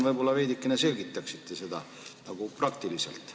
Võib-olla te veidikene selgitaksite seda, kuidas see praktiliselt on.